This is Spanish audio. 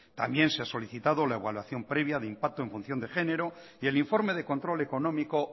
también se ha solicitado la evaluación previa de impacto en función de género y el informe de control económico